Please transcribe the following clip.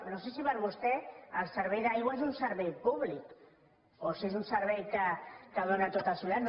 no sé si per a vostè el servei d’aigua és un servei públic o si és un servei que es dóna a tots els ciutadans